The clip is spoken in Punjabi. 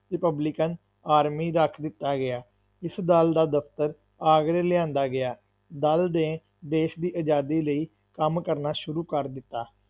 ਰਿਪਬਲਿਕਨ ਆਰਮੀ ਰੱਖ ਦਿੱਤਾ ਗਿਆ, ਇਸ ਦਲ ਦਾ ਦਫਤਰ ਆਗਰੇ ਲਿਆਂਦਾ ਗਿਆ, ਦਲ ਦੇ ਦੇਸ਼ ਦੀ ਆਜ਼ਾਦੀ ਲਈ ਕੰਮ ਕਰਨਾ ਸ਼ੁਰੂ ਕਰ ਦਿੱਤਾ।